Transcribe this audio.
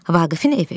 Vaqifin evi.